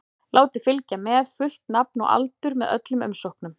Látið fylgja með fullt nafn og aldur með öllum umsóknum.